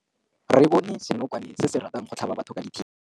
Re bone senokwane se se ratang go tlhaba batho ka thipa.